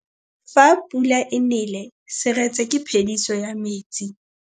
Fa pula e nelê serêtsê ke phêdisô ya metsi.